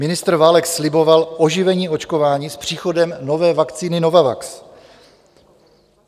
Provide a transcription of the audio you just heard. Ministr Válek sliboval oživení očkování s příchodem nové vakcíny Novavax.